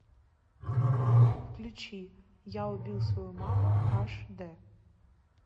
включи я убил свою маму аш дэ